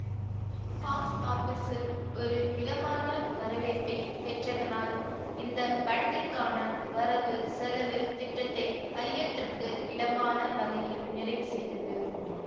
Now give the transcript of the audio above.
box ஆபிஸில் ஒரு மிதமான வரவேற்பை பெற்றதனால் இந்த படத்திற்கான வரவு செலவு திட்டத்தை ஐயத்திற்கு இடமான வகையில் நிறைவுசெய்தது